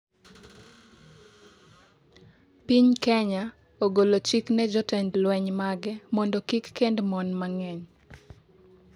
piny Kenya ogolo chik ne jotend lweny mage mondo kik kend mon mang'eny